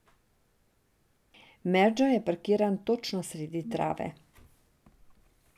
Merdžo je parkiran točno sredi trave.